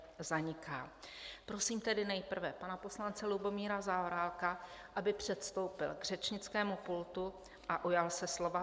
Prosím tedy nejprve pana poslance Lubomíra Zaorálka, aby předstoupil k řečnickému pultu a ujal se slova.